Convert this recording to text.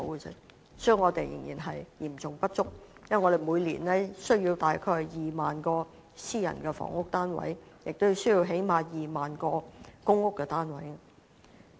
因此，供應仍然會是嚴重不足的，因為我們每年是需要約2萬個私人住宅單位及最低限度2萬個公屋單位。